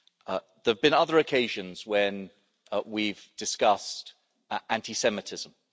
There have been other occasions when we've discussed anti Semitism.